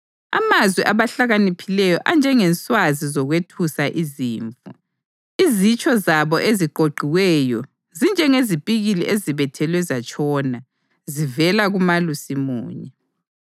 Amazwi abahlakaniphileyo anjengenswazi zokwethusa izimvu, izitsho zabo eziqoqiweyo zinjengezipikili ezibethelwe zatshona, zivela kuMalusi munye.